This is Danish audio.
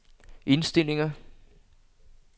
indstillinger